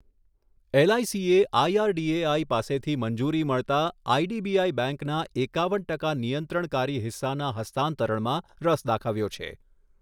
એલઆઇસીએ IRDAI પાસેથી મંજૂરી મળતાં આઇડીબીઆઈ બેંકના એકાવન ટકા નિયંત્રણકારી હિસ્સાના હસ્તાંતરણમાં રસ દાખવ્યો છે.